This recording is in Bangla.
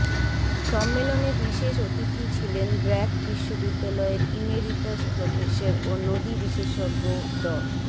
সম্মেলনে বিশেষ অতিথি ছিলেন ব্র্যাক বিশ্ববিদ্যালয়ের ইমেরিটাস প্রফেসর ও নদীবিশেষজ্ঞ ড